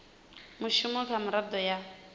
na mushumo kha miraḓo ya